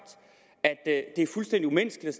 at det er fuldstændig umenneskeligt